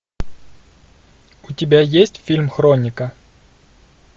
у тебя есть фильм хроника